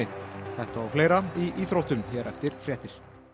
þetta og fleira í íþróttum hér eftir fréttir